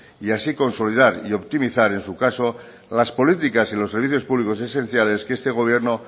y así consolidar y optimizar en su caso las políticas y los servicios públicos esenciales que este gobierno